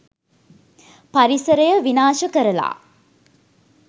පරිසරය විනාශ කරලා